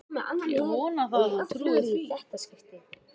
Ég vona það og trúi því